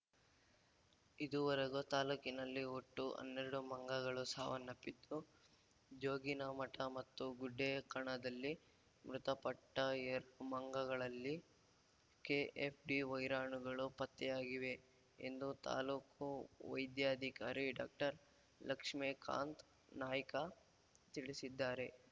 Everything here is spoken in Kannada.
ಇದುವರೆಗೂ ತಾಲೂಕಿನಲ್ಲಿ ಒಟ್ಟು ಹನ್ನೆರಡು ಮಂಗಗಳು ಸಾವನ್ನಪ್ಪಿದ್ದು ಜೋಗಿನಮಠ ಮತ್ತು ಗುಡ್ಡೇಕಣದಲ್ಲಿ ಮೃತಪಟ್ಟಎರಡು ಮಂಗಗಳಲ್ಲಿ ಕೆಎಫ್‌ಡಿ ವೈರಾಣುಗಳು ಪತ್ತೆಯಾಗಿವೆ ಎಂದು ತಾಲೂಕು ವೈದ್ಯಾಧಿಕಾರಿ ಡಾಕ್ಟರ್ ಲಕ್ಷ್ಮೇಕಾಂತ್ ನಾಯ್ಕ ತಿಳಿಸಿದ್ದಾರೆ